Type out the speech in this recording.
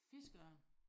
Fiskeørn